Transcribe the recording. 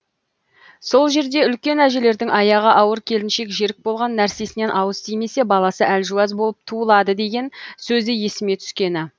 сол жерде үлкен әжелердің аяғы ауыр келіншек жерік болған нәрсесінен ауыз тимесе баласы әлжуаз болып туылады деген сөзі есіме түскені